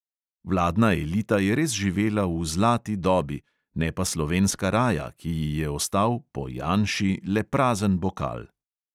Vladna elita je res živela v "zlati dobi", ne pa slovenska raja, ki ji je ostal "po janši" le prazen bokal!